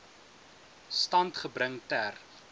stand gebring ter